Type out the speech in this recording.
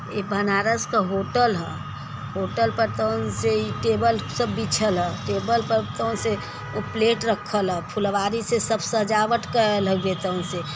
ये बनारस का होटल ह। होटल पर तोंसे इ टेबल सब बिछल ह। टेबल पर तोसे प्लेट रखल ह। फुलवारी से सब सजावट करल हउए तोवन से।